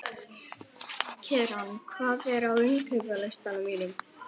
Keran, hvað er á innkaupalistanum mínum?